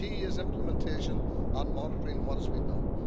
The key is implementation and monitoring what has been done.